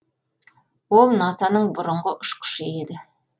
ол наса ның бұрынғы ұшқышы еді